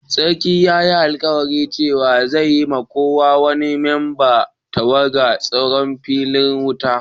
Sarkin ya yi alkawali cewa zai siya ma ko wani memban tawagan tsaro fitilar wuta.